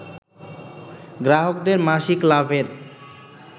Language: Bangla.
গ্রাহকদের মাসিক লাভের